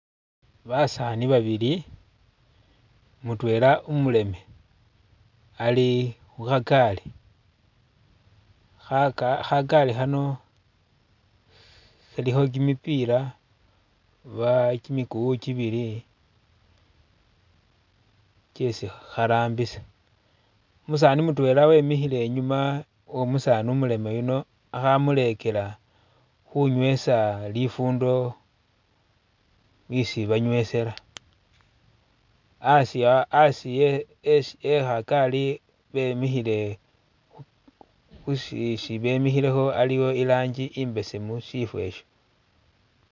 Basaani babili mutwela umuleme ali khukhagaali khaka kha'gaali khano khalikho kimipila ba kimikuwu kibili kyesi kharambisa umusaani mutwela wemikhile e'nyuma womusaani umuleme yuno akhamulekela khunywesa lifundo isi banywesela a'asi aa a'asi e e kha'gaali bemikhile khusi isi bemikhilekho aliwo irangi i'besemu shifo e'sho